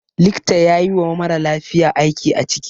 Likta yayi wa maralafiya aiki a ciki